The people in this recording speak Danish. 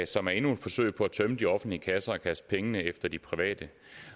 som er endnu et forsøg på tømme de offentlige kasser og kaste pengene efter de private